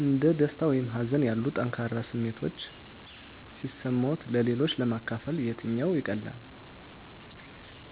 እንደ ደስታ ወይም ሀዘን ያሉ ጠንካራ ስሜቶች ሲሰማዎት-ለሌሎች ለማካፈል የትኛው ይቀላል?